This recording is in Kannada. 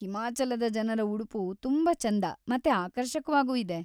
ಹಿಮಾಚಲದ ಜನರ ಉಡುಪು ತುಂಬಾ ಚೆಂದ ಮತ್ತೆ ಆಕರ್ಷಕವಾಗೂ ಇದೆ.